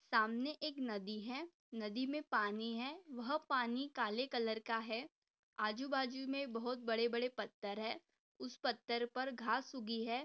सामने एक नदी है नदी में पानी है वह पानी काले कलर का है आजूबाजू में बहुत बड़े-बड़े पत्थर है उस पत्थर पर घास उगी है।